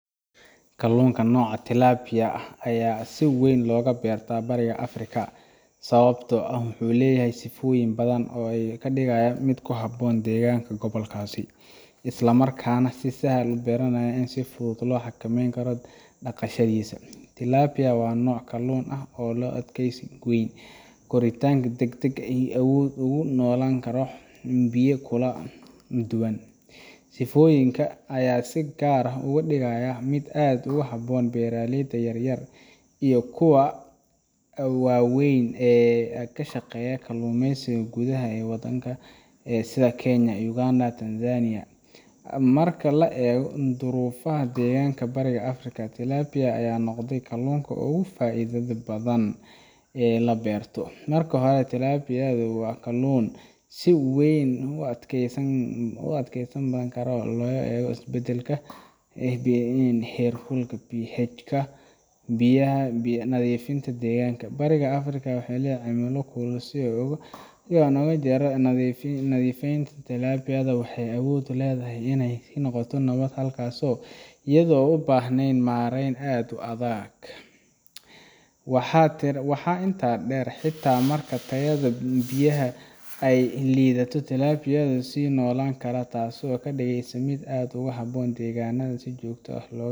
Kalluunka nooca tilapia ah ayaa si weyn looga beertaa Bariga Afrika sababtoo ah wuxuu leeyahay sifooyin badan oo ka dhigaya mid ku habboon deegaanka gobolkaas, isla markaana u sahla beeraleyda inay si fudud u xakameeyaan dhaqashadiisa. Tilapia waa nooc kalluun ah oo leh adkaysi weyn, koritaan degdeg ah, iyo awood uu ugu noolaan karo xaalado biyo oo kala duwan. Sifooyinkan ayaa si gaar ah uga dhigaya mid aad ugu habboon beeraleyda yaryar iyo kuwa waaweynba ee ka shaqeeya kalluumeysiga gudaha ee waddamada sida Kenya, Uganda, iyo Tanzania. Marka la eego duruufaha deegaanka Bariga Afrika, tilapia ayaa noqotay kalluunka ugu faa’iidada badan ee la beero. Marka hore, tilapia waa kalluun si weyn u adkaysi badan marka loo eego isbedbedelka heerkulka, pH-ga biyaha, iyo nadiifnimada deegaanka. Bariga Afrika oo leh cimilo kulul, iyo biyo aan had iyo jeer nadiif ahayn, tilapia waxay awood u leedahay inay ku noolaato halkaas iyadoo aan u baahnayn maarayn aad u adag. Waxaa intaa dheer, xitaa marka tayada biyaha ay yara liidato, tilapia way sii noolaan kartaa taasoo ka dhigaysa mid aad ugu habboon deegaanada aan si joogto ah looga